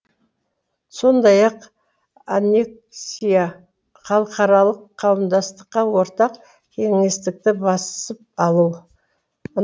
сондай ақ аннексия халықаралық қауымдастыққа ортақ кеңістікті басып алу